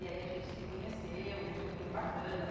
E aí a gente se conheceu e foi muito bacana.